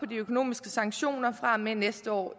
de økonomiske sanktioner fra og med næste år